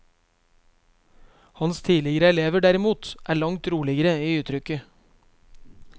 Hans tidligere elever, derimot, er langt roligere i uttrykket.